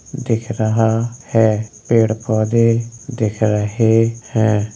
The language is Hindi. दिख रहा है। पेंड़ - पौधे दिख रहें हैं ।